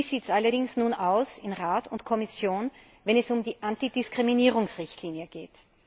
Wie sieht es allerdings nun aus in Rat und Kommission, wenn es um die Antidiskriminierungsrichtlinie geht?